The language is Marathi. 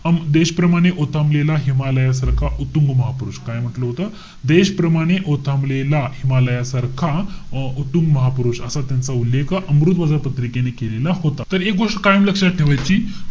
देशप्रमाणे ओथंबलेला हिमालया सारखा उत्तुंग महापुरुष. काय म्हंटल होत? देशप्रमाणे ओथंबलेला हिमालया सारखा अं उत्तुंग महापुरुष. असा त्यांचा उल्लेख अमृतबाजार पत्रिकेने केलेला होता. तर एक गोष्ट कायम लक्षात ठेवायची.